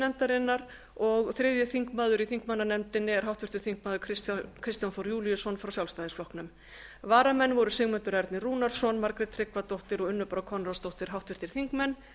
nefndarinnar og þriðji þingmaður í þingmannanefndinni er háttvirtur þingmaður kristján þór júlíusson frá sjálfstæðisflokknum varamenn voru sigmundur ernir rúnarsson margrét tryggvadóttir og unnur brá konráðsdóttir háttvirtir þingmenn